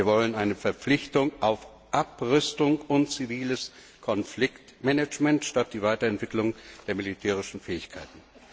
Wir wollen eine Verpflichtung zu Abrüstung und ziviles Konfliktmanagement statt der Weiterentwicklung der militärischen Fähigkeiten.